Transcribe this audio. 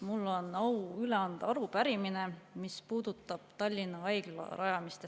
Mul on au anda üle arupärimine, mis puudutab Tallinna Haigla rajamist.